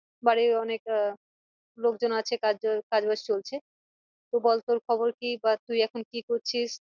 বাড়ির অনেক আহ লোকজন আছে কাজ বাজ চলছে তো বল তোর খবর কি বা তুই এখন কি করছিস?